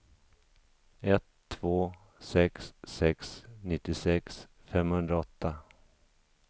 ett två sex sex nittiosex femhundraåtta